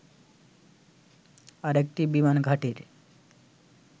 আরেকটি বিমান ঘাঁটির